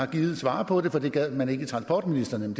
gidet svare på det for det gad man ikke i transportministeriet